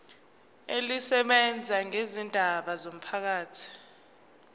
elisebenza ngezindaba zomphakathi